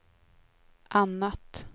annat